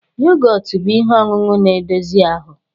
Yogotu bụ ihe ọṅụṅụ na-edozi ahụ